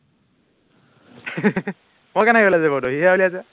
মই কেনেকে উলাইছো সিহে উলিয়াইছে